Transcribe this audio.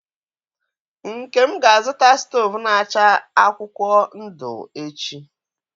Nkem ga-azụta stovu na acha akwukwuo ndu echi.